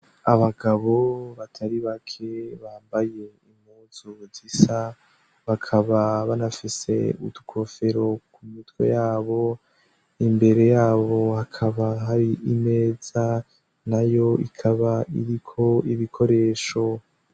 Abagabo batari bake bambaye impuzu zisa bakaba banafise utwofero ku mitwe yabo imbere yabo hakaba hari imeza na yo ikaba iriko ibikoresho.